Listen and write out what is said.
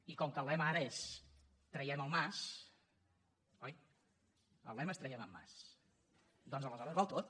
i com que el lema ara és traiem el mas oi el lema és traiem en mas doncs aleshores val tot